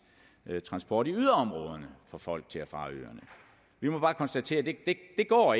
transport i yderområderne for folk til og fra ørerne vi må bare konstatere at det ikke går